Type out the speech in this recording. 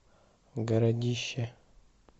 городище